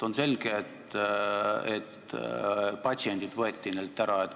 On selge, et neilt võeti patsiendid ära.